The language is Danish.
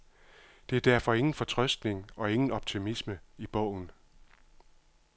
Der er derfor ingen fortrøstning og ingen optimisme i bogen.